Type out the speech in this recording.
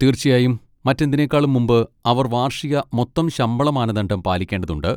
തീർച്ചയായും, മറ്റെന്തിനേക്കാളും മുമ്പ് അവർ വാർഷിക മൊത്തം ശമ്പളമാനദണ്ഡം പാലിക്കേണ്ടതുണ്ട്.